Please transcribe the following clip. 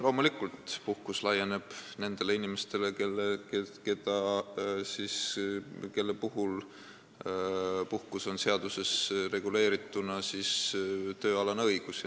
Loomulikult, puhkust saavad need inimesed, kellel puhkus on seaduses reguleeritud tööalane õigus.